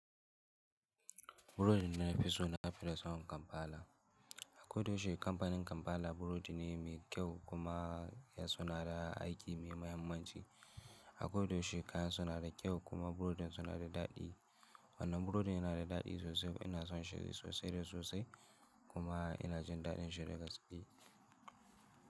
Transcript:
Burodi na nufi so na fita sabon Kampala. Akwai doshi kamfanin Kampala burodi ne mai kyau kuma ya sonada aiki mai mahimmanci. A koda yaushe kayansu nada kyau, kuma burodin su nada daɗi. Wannan burodin yana da daɗi sosai, ina son shi sosai da sosai kuma yana jin daɗin shi da gaske.